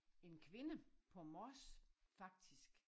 En kvinde på Mors faktisk